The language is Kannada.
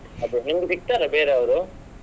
ಅದೇ ನಿಮ್ಗೆ ಸಿಗ್ತಾರಾ ಬೇರೆ ಅವ್ರು?